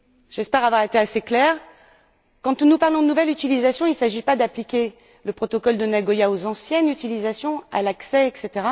J'espère que mon exemple a été assez clair. Quand nous parlons de nouvelle utilisation, il ne s'agit pas d'appliquer le protocole de Nagoya aux anciennes utilisations, à l'accès, etc.,